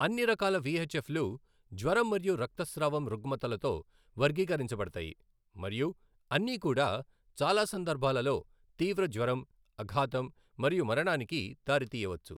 అన్ని రకాల విఎచ్ఎఫ్లు జ్వరం మరియు రక్తస్రావం రుగ్మతలతో వర్గీకరించబడతాయి మరియు అన్నీ కూడా చాలా సందర్భాలలో తీవ్ర జ్వరం, అఘాతం మరియు మరణానికి దారితీయవచ్చు.